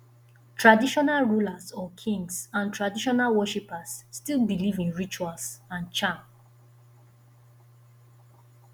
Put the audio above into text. traditional rulers or kings and traditional worshippers still believe in rituals and charm